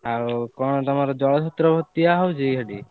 ଆଉ କଣ ତମର ଜଳ ଛତ୍ର ଦିଆ ହଉଛି ହେଠି?